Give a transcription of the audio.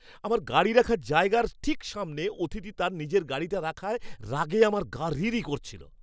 আমার গাড়ি রাখার জায়গার ঠিক সামনে অতিথি তার নিজের গাড়িটা রাখায় রাগে আমার গা রিরি করছিল।